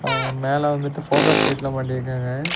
ஆ மேல வந்துட்டு ஃபோக்கஸ் லைட்லா மாட்டிருக்காங்க.